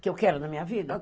Que eu quero na minha vida?